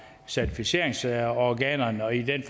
certificeringsorganerne og i den